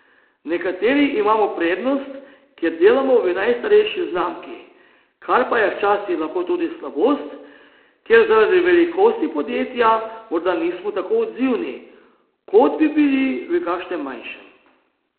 Nekateri imamo prednost, ker delamo v najstarejši znamki, kar pa je včasih lahko tudi slabost, ker zaradi velikosti podjetja morda nismo tako odzivni, kot bi bili v kakšnem manjšem.